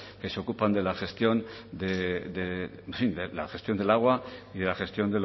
que se ocupan de la gestión de en fin de la gestión del agua y de la gestión